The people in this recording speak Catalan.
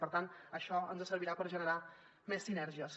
per tant això ens servirà per generar més sinergies